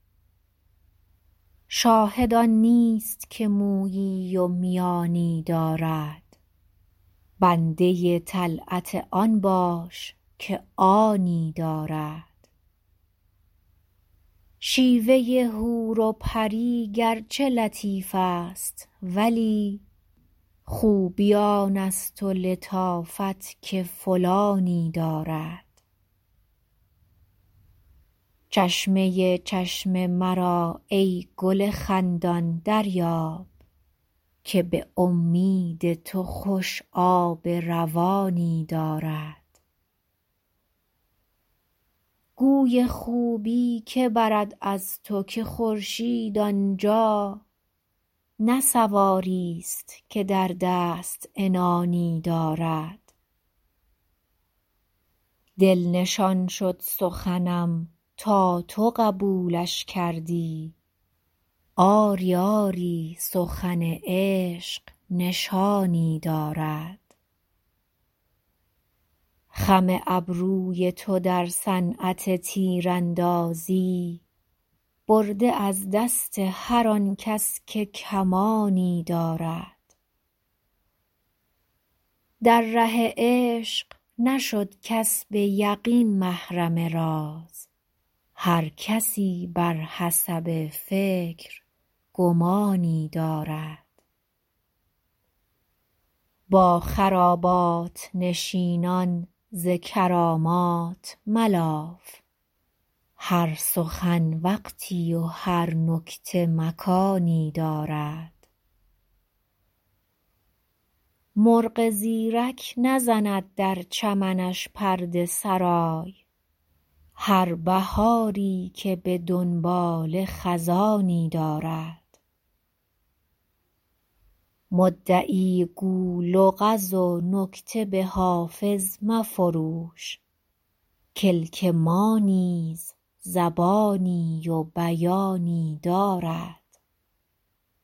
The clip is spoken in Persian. شاهد آن نیست که مویی و میانی دارد بنده طلعت آن باش که آنی دارد شیوه حور و پری گرچه لطیف است ولی خوبی آن است و لطافت که فلانی دارد چشمه چشم مرا ای گل خندان دریاب که به امید تو خوش آب روانی دارد گوی خوبی که برد از تو که خورشید آن جا نه سواریست که در دست عنانی دارد دل نشان شد سخنم تا تو قبولش کردی آری آری سخن عشق نشانی دارد خم ابروی تو در صنعت تیراندازی برده از دست هر آن کس که کمانی دارد در ره عشق نشد کس به یقین محرم راز هر کسی بر حسب فکر گمانی دارد با خرابات نشینان ز کرامات ملاف هر سخن وقتی و هر نکته مکانی دارد مرغ زیرک نزند در چمنش پرده سرای هر بهاری که به دنباله خزانی دارد مدعی گو لغز و نکته به حافظ مفروش کلک ما نیز زبانی و بیانی دارد